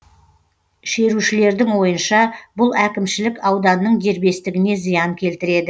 шерушілердің ойынша бұл әкімшілік ауданның дербестігіне зиян келтіреді